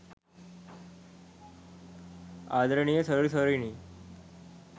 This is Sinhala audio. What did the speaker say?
ආදරණීය සොයුරු සොයුරියනි